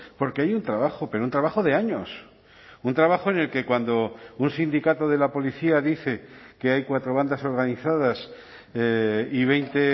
porque hay un trabajo pero un trabajo de años un trabajo en el que cuando un sindicato de la policía dice que hay cuatro bandas organizadas y veinte